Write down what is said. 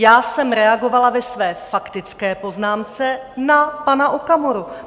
Já jsem reagovala ve své faktické poznámce na pana Okamuru.